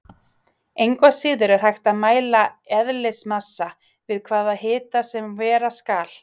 Engu að síður er hægt að mæla eðlismassa við hvaða hita sem vera skal.